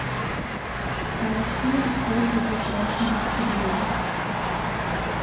поищи охота за красным октябрем